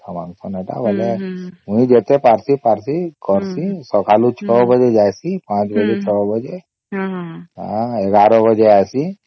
ଏଟା କୁ ନେଲେ ମୁଇ ଯେତେ ପାରୁଛି ପାରସୀ କରୁଛି ସକାଳେ ୬ ବାଜେ ଜାଇସୀ ୫ବଜେ ୬ ବାଜେ ଆଃ ୧୧ ବାଜେ ଆସି